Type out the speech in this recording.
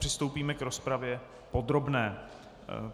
Přistoupíme k rozpravě podrobné.